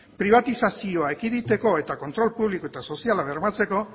pribatizazioa ekiditeko eta kontrol publiko eta soziala bermatzeko